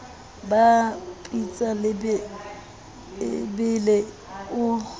ba pitsa e bele o